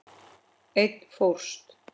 Einn fórst.